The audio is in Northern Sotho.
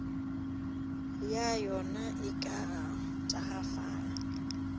ya yona e ka tagafala